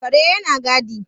kare yana gadi